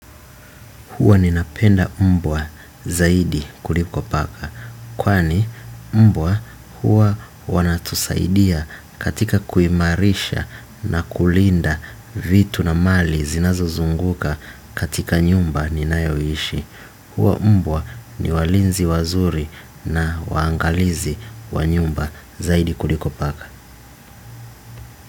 Huwa ninapenda mbwa zaidi kuliko paka. Kwani mbwa huwa wanatusaidia katika kuimarisha na kulinda vitu na mali zinazozunguka katika nyumba ninayoishi. Huwa mbwa ni walinzi wazuri na waangalizi wa nyumba zaidi kuliko paka.